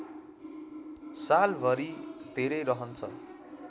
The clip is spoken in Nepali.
सालभरि धेरै रहन्छ